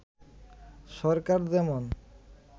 সরকার যেমন